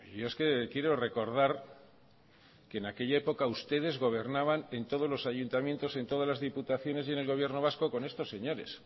yo es que quiero recordar que en aquella época ustedes gobernaban en todos los ayuntamientos en todas las diputaciones y en el gobierno vasco con estos señores